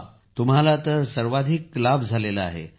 हे पहा तुम्हाला तर सर्वाधिक लाभ झाला झाला आहे